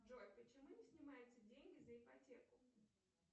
джой почему не снимаются деньги за ипотеку